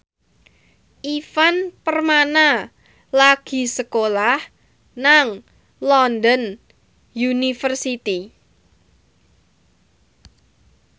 Ivan Permana lagi sekolah nang London University